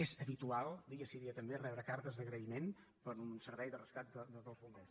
és habitual dia sí dia també rebre cartes d’agraïment per un servei de rescat dels bombers